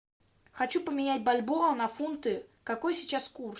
хочу поменять бальбоа на фунты какой сейчас курс